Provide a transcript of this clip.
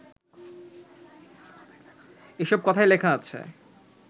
এসব কথাই লেখা আছে